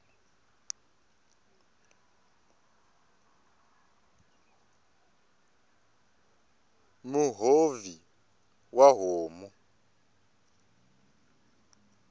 muhovhi wa homu